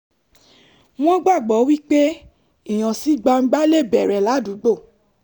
wọ́n gbàgbọ́ wípé ìhànsígbangba lè bẹ̀rẹ̀ ládùúgbò